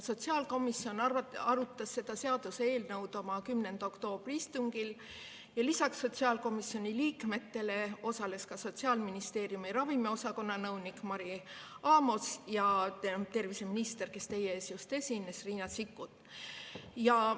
Sotsiaalkomisjon arutas seda seaduseelnõu oma 10. oktoobri istungil ja lisaks sotsiaalkomisjoni liikmetele osalesid seal Sotsiaalministeeriumi ravimiosakonna nõunik Mari Amos ja terviseminister, kes meie ees just esines, Riina Sikkut.